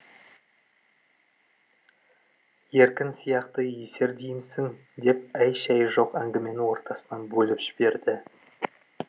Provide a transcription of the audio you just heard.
еркін сияқты есер деймісің деп әй шәй жоқ әңгімені ортасынан бөліп жіберді